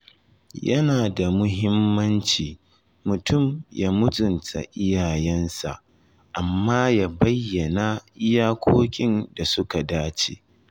Yana da muhimmanci mutum ya mutunta iyayensa, amma ya bayyana iyakokin da suka dace.